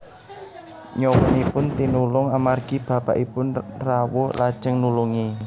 Nyawanipun tinulung amargi bapakipun rawuh lajeng nulungi